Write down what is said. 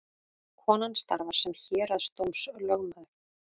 Konan starfar sem héraðsdómslögmaður